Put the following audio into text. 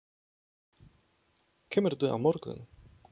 Kemurðu á morgun?